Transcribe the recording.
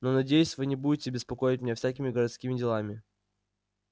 но надеюсь вы не будете беспокоить меня всякими городскими делами